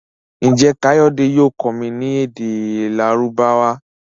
Njé kayode yóò kọ mí ní èdè Lárúbáwá?